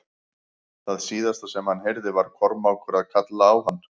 Það síðasta sem hann heyrði var Kormákur að kalla á hann.